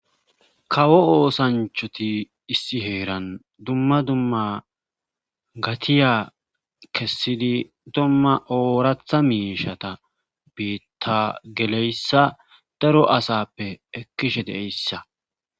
kawo oosanchati issi heeran dumma dumma gatiya kessidi dumma ooratha miishata bita geleyssa daro asappe ekkishe de'yssa